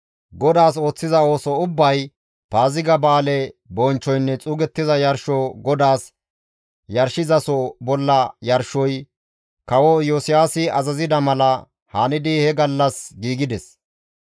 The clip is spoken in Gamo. GODAAS ooththiza ooso ubbay, Paaziga ba7aale bonchchoynne xuugettiza yarsho GODAAS yarshizaso bolla yarshoy, kawo Iyosiyaasi azazida mala hanidi he gallas giigides.